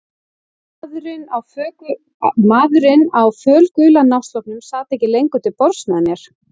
Maðurinn á fölgula náttsloppnum sat ekki lengur til borðs með mér.